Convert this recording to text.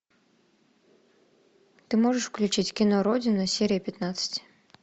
ты можешь включить кино родина серия пятнадцать